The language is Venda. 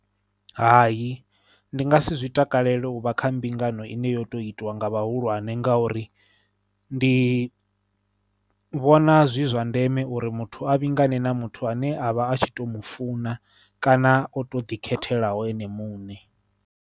Hai ndi nga si zwi takalele u vha kha mbingano ine yo tou itwa nga vhahulwane ngauri ndi vhona zwi zwa ndeme uri muthu a vhingane na muthu ane a vha a tshi tou mu funa kana o tou ḓikhetheaho ene muṋe